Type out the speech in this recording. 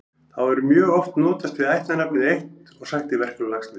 Þá er mjög oft notast við ættarnafnið eitt og sagt í verkum Laxness.